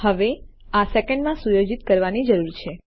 હવે આ સેકન્ડમાં સુયોજિત કરવાની જરૂર છે